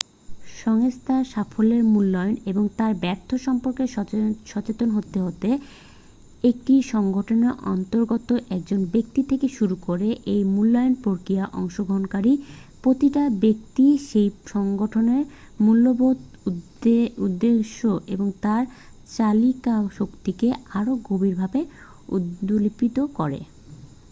সংস্থার সাফল্যের মূল্যায়ন এবং তার ব্যর্থতা সম্পর্কে সচেতন হতে হতে একটি সংগঠনের অন্তর্গত একজন ব্যক্তি থেকে শুরু করে এই মূল্যায়ন প্রক্রিয়ায় অংশগ্রহণকারী প্রতিটা ব্যক্তিই সেই সংগঠনের মূল্যবোধ উদ্দেশ্য এবং তার চালিকাশক্তিকে আরও গভীর ভাবে উপলব্ধি করে